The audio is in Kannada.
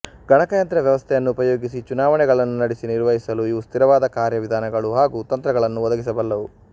ಗಣಕಯಂತ್ರ ವ್ಯವಸ್ಥೆಯನ್ನು ಉಪಯೋಗಿಸಿ ಚುನಾವಣೆಗಳನ್ನು ನಡೆಸಿ ನಿರ್ವಹಿಸಲು ಇವು ಸ್ಥಿರವಾದ ಕಾರ್ಯವಿಧಾನಗಳು ಹಾಗೂ ತಂತ್ರಗಳನ್ನು ಒದಗಿಸಬಲ್ಲವು